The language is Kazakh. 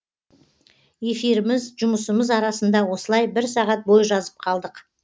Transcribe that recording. эфиріміз жұмысымыз арасында осылай бір сағат бой жазып қалдық